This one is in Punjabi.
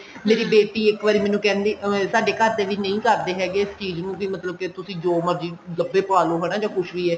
ਮੇਰੀ ਬੇਟੀ ਇੱਕ ਵਾਰੀ ਮੈਨੂੰ ਕਹਿੰਦੀ ਐਵੇਂ ਸਾਡੇ ਘਰ ਦੇ ਵੀ ਨਹੀਂ ਕਰਦੇ ਹੈਗੇ ਇਸ ਚੀਜ਼ ਨੂੰ ਮਤਲਬ ਕੇ ਤੁਸੀਂ ਜੋ ਮਰਜੀ ਕੱਪੜੇ ਪਾ ਲੋ ਹਨਾ ਕੁੱਛ ਵੀ ਹੈ